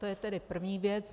To je tedy první věc.